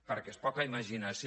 perquè és poca imaginació